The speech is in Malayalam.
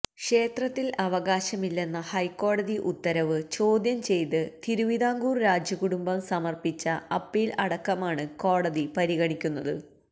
ക്ഷേത്രത്തിൽ അവകാശമില്ലെന്ന ഹൈക്കോടതി ഉത്തരവ് ചോദ്യം ചെയ്ത് തിരുവിതാംകൂർ രാജകുടുംബം സമർപ്പിച്ച അപ്പീൽ അടക്കമാണ് കോടതി പരിഗണിക്കുന്നത്